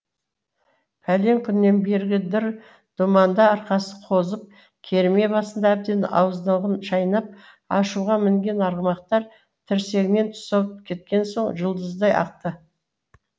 пәлен күннен бергі дыр думанда арқасы қозып керме басында әбден ауыздығын шайнап ашуға мінген арғымақтар тірсегінен тұсау кеткен соң жұлдыздай ақты